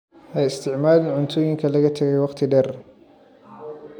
Ha isticmaalin cuntooyinka laga tagay wakhti dheer.